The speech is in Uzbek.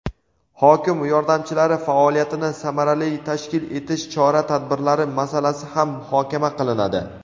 hokim yordamchilari faoliyatini samarali tashkil etish chora-tadbirlari masalasi ham muhokama qilinadi.